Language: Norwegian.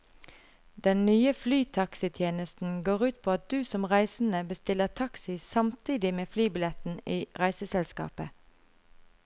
Den nye flytaxitjenesten går ut på at du som reisende bestiller taxi samtidig med flybilletten i reiseselskapet.